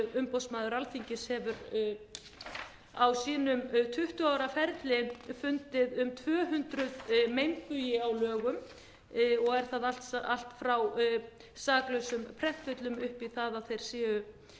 umboðsmaður alþingis hefur á sínum tuttugu ára ferli fundið um tvö hundruð meinbugi á lögum og er það allt frá saklausum prentvillum upp